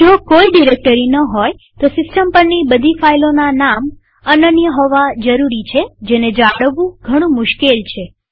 જો કોઈ ડિરેક્ટરીઓ ન હોયતો સિસ્ટમ પરની બધી ફાઈલોના નામ અનન્ય હોવા જરૂરી છેજેને જાળવવું ઘણું મુશ્કેલ છે